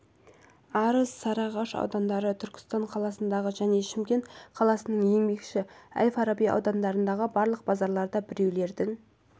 арыс сарыағаш аудандары түркістан қаласындағы және шымкент қаласының еңбекші әл-фараби аудандарындағы барлық базарларда біреулердің